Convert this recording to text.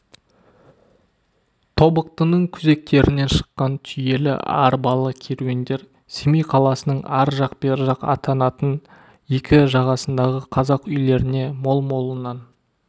тобықтының күзектерінен шыққан түйелі арбалы керуендер семей қаласының ар жақ бер жақ атанатын екі жағасындағы қазақ үйлеріне мол-молынан